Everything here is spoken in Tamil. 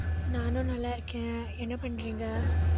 நானும் நல்லா இருக்கேன். என்ன பண்றீங்க